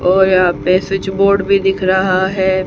और यहां पे स्विच बोर्ड भी दिख रहा है।